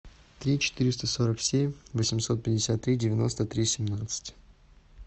три четыреста сорок семь восемьсот пятьдесят три девяносто три семнадцать